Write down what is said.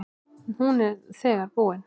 Hún er þegar búin.